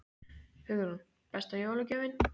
Hugrún: Besta jólagjöfin?